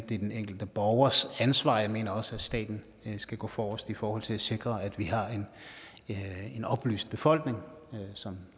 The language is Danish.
det er den enkelte borgers ansvar jeg mener også at staten skal gå forrest i forhold til at sikre at vi har en oplyst befolkning som